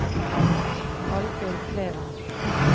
Alvhild Kleven